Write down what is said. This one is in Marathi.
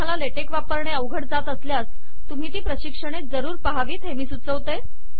तुम्हाला ले टेक वापरणे अवघड जात असल्यास तुम्ही ती प्रशिक्षणे जरूर पहावीत हे मी सुचवते